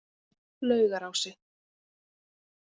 Laugarási